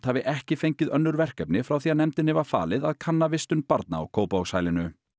hafi ekki fengið önnur verkefni frá því að nefndinni var falið að kanna vistun barna á Kópavogshælinu